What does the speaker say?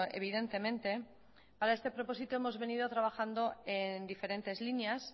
evidentemente a este propósito hemos venido trabajando en diferentes líneas